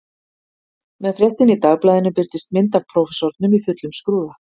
Með fréttinni í dagblaðinu birtist mynd af prófessornum í fullum skrúða